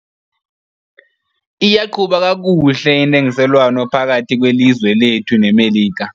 Iyqhuba kakuhle intengiselwano phakathi kwelizwe lethu neMelika.